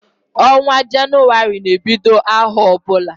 Onwa Jenụwarị na ebiod aho obuna